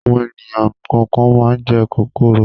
Àwọn ènìyàn kọ̀ọ̀kan máa ń jẹ kòkòrò.